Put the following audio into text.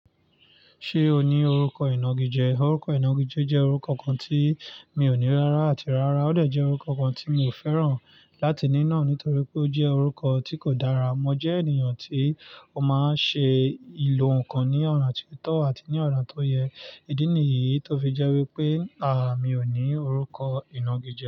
Ṣé o ní orúkọ ìnagijẹ? Orúkọ ìnagijẹ jẹ́ orúkọ kan tí mi ò ní rárá àti rárá. Ó de jẹ́ orúkọ kan tí mi ò fẹ́ràn láti ní nàá nítorí pé ó jẹ́ orúkọ tí kò dára. Mo jẹ́ ènìyàn tí ó máa ń ṣe ìlò ǹkan ní ọ̀nà tí tọ́ àti ní ọ̀nà tó yẹ. Idi ni yìí tó fi jẹ́ wípé, àà, mi ò ní orúkọ ìnagijẹ.